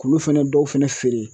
K'ulu fɛnɛ dɔw fɛnɛ feere